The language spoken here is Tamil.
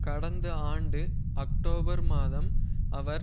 கடந்த ஆண்டு அக்டோபர் மாதம் அவர்